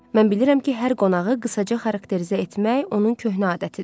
Mən bilirəm ki, hər qonağı qısaca xarakterizə etmək onun köhnə adətidir.